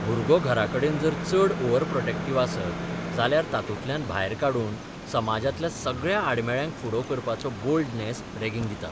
भुरगो घराकडेन जर चड ओव्हरप्रॉटेक्टिव्ह आसत जाल्यार तातूंतल्यान भायर काडून समाजांतल्या सगळ्या आडमेळ्यांक फुडो करपाचो बोल्डनेस रैंगिंग दिता.